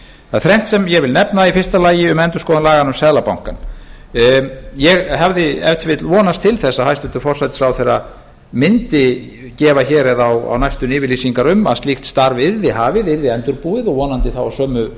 það er þrennt sem ég vil nefna í fyrsta lagi um endurskoðun laganna um seðlabankann ég hefði ef til vill vonast til þess að hæstvirtur forsætisráðherra mundi gefa hér eða á næstunni yfirlýsingar um að slíkt starf yrði hafið yrði endurbúið og vonandi þá á sömu